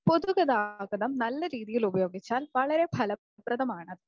പൊതുഗതാഗതം നല്ല രീതിയിൽ ഉപയോഗിച്ചാൽ വളരെ ഫലപ്രദമാണ്.